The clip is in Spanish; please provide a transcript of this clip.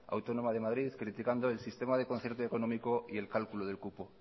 autónoma de madrid criticando el sistema de concierto económico y el cálculo del cupo